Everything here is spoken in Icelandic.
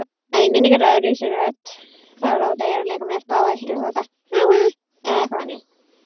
Fátt var sagt um borð.